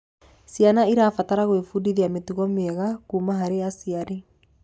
Ciana irabatara gwibundithia mitugo miega kuma harĩ aciari